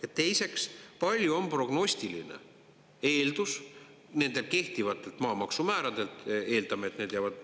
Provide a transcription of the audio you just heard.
Ja teiseks, palju on prognostiline eeldus nendelt kehtivatelt maamaksumääradelt?